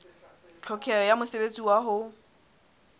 tlhokeho ya mosebetsi wa ho